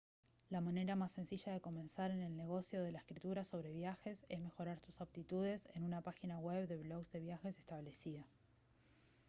la manera más sencilla de comenzar en el negocio de la escritura sobre viajes es mejorar sus aptitudes en una página web de blogs de viajes establecida